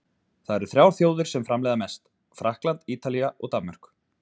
Þar eru þrjár þjóðir, sem framleiða mest, Frakkland, Ítalía og Danmörk.